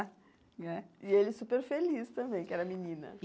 E ele superfeliz também, que era menina.